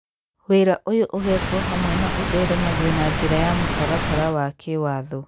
Wĩra ũyũ ũgekwo hamwe na ũtheremagio na njĩra ya mũtaratara wa kĩwaatho.